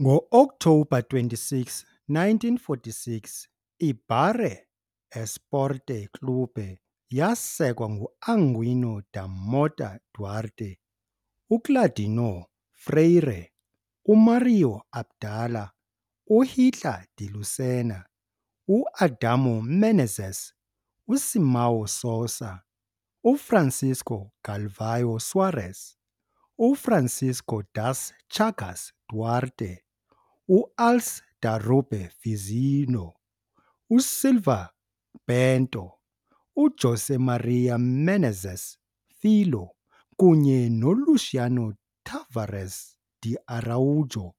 Ngo-Oktobha 26, 1946, IBaré Esporte Clube yasekwa nguAquilino da Mota Duarte, uClaudeonor Freire, Mário Abdala, uHitler de Lucena, uAdamor Menezes, uSimão Souza, uFrancisco Galvão Soares, uFrancisco das Chagas Duarte, uAlçs da Rube Fizilho USilva Bento, uJosé Maria Menezes Filho kunye noLuciano Tavares de Araújo,